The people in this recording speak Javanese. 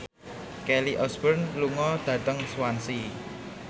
Kelly Osbourne lunga dhateng Swansea